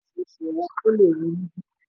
firs ti gbà orísìírísìí owó orí; o lè rí i níbí.